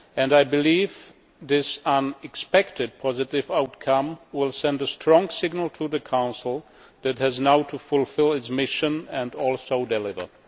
I believe this unexpectedly positive outcome will send a strong signal to the Council that it has now to fulfil its mission and deliver.